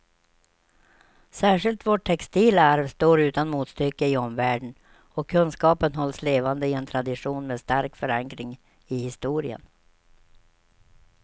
Särskilt vårt textila arv står utan motstycke i omvärlden och kunskapen hålls levande i en tradition med stark förankring i historien.